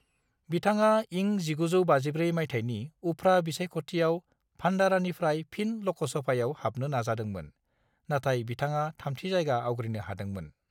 बिथाङा इं 1954 माइथायनि उफ्रा बिसायख'थियाव भान्डारानिफ्राय फिन लकसभायाव हाबनो नाजादोंमोन, नाथाय बिथाङा थामथि जायगा आवग्रिनो हादोंमोन।